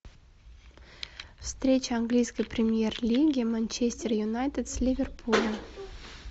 встреча английской премьер лиги манчестер юнайтед с ливерпулем